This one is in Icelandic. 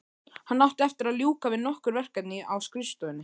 Hann átti eftir að ljúka við nokkur verkefni á skrifstofunni.